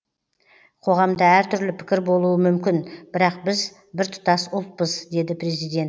қоғамда әртүрлі пікір болуы мүмкін бірақ біз біртұтас ұлтпыз деді президент